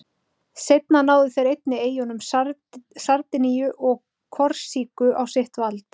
Seinna náðu þeir einnig eyjunum Sardiníu og Korsíku á sitt vald.